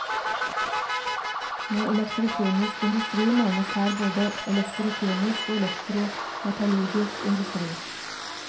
Med elektrokjemisk industri menes her både elektrokjemisk og elektrometallurgisk industri.